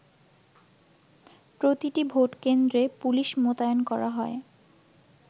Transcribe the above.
প্রতিটি ভোট কেন্দ্রে পুলিশ মোতায়েন করা হয়।